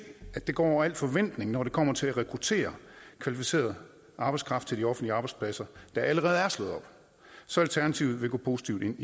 at det går over al forventning når det kommer til at rekruttere kvalificeret arbejdskraft til de offentlige arbejdspladser der allerede er slået op så alternativet vil gå positivt ind